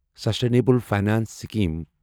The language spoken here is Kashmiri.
sustainable finance scheme